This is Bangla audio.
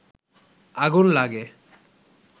আগুন লাগে